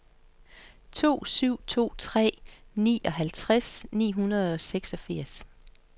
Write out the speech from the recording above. to syv to tre nioghalvtreds ni hundrede og seksogfirs